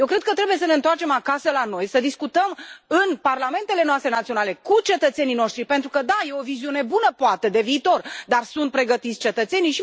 Eu cred că trebuie să ne întoarcem acasă la noi, să discutăm în parlamentele noastre naționale, cu cetățenii noștri, pentru că, da, e o viziune bună poate, de viitor, dar sunt pregătiți cetățenii?